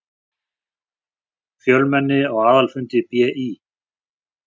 Fjölmenni á aðalfundi BÍ